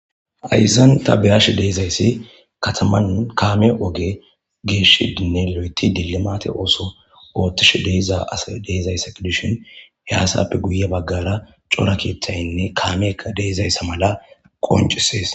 Haysan ta beyash deezayssi kataman kaame oge geeshidinne lo7eti dilimate ooso oothtish deeza a deezays sekedishon he asappe guye baggara cora keeththaynne kaame deezayssa mala qoncisees